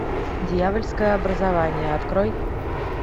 дьявольское образование открой